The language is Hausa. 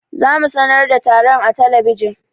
Za mu sanar da taron a talabijin.